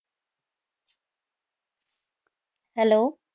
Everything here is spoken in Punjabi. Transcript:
Hello